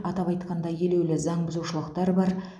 атап айтқанда елеулі заңбұзушылықтар бар